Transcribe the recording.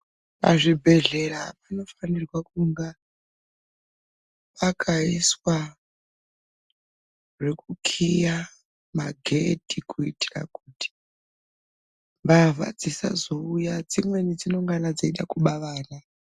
Pazvibhedhlera panofanirwa kunga pakaiswa zvekukhiya magedhi kuitira kuti, mbavha dzisazouya. Dzimweni dzinengana dzichida kuba vana.